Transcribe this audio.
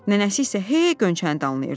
Nənəsi isə hey Gönçəni danlayırdı.